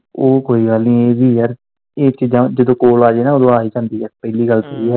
ਓਹ ਕੋਈ ਗੱਲ ਨੀ ਇਵੀਂ ਯਾਰ ਇਹ ਚੀਜ਼ਾਂ ਜਦੋਂ ਕੋਲ ਆਜੇ ਆ ਹੀ ਜਾਂਦੀਆ ਪਹਿਲੀ ਗੱਲ ਤੇ ਇਹੀ ਆ।